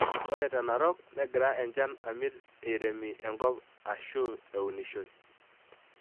Ore te Narok negira enchan amit eiremi enkop ashu eunishoi.